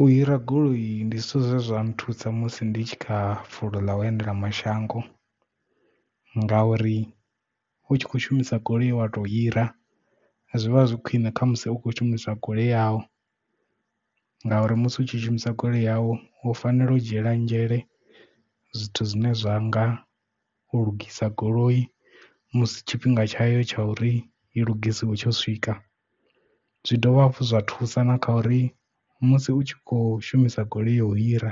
U hira goloi ndi zwithu zwezwa nthusa musi ndi tshi kha fulo ḽa u endela mashango nga uri u tshi kho shumisa goloi ye wa to hira zwi vha zwi khwine kha musi u khou shumisa goloi yavho ngauri musi u tshi shumisa goloi yau u fanela u dzhiela nzhele zwithu zwine zwa nga u lugisa goloi musi tshifhinga tshayo tsha uri i lugisiwe tsho swika zwi dovha hafhu zwa thusa na kha uri musi u tshi kho shumisa goloi ya u hira